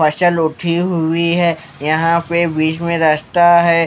फसल उठी हुई है यहां पे बीच में रास्ता है।